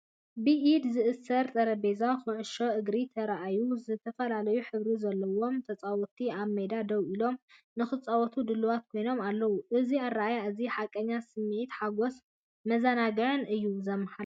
ብኢድ ዝእሰር ጠረጴዛ ኩዕሶ እግሪ ተራእዩ፤ ዝተፈላለየ ሕብሪ ዘለዎም ተጻወትቲ ኣብ ሜዳ ደው ኢሎም፡ ንኽጻወቱ ድሉዋት ኮይኖም ኣለዉ። እዚ ኣረኣእያ እዚ፡ ሓቀኛ ስምዒት ሓጐስን መዘናግዕን እዩ ዘመሓላልፍ።